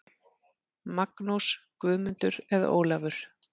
Magnús, Guðmundur eða Ólafur.